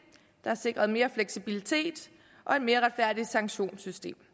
der er sikret mere fleksibilitet og et mere retfærdigt sanktionssystem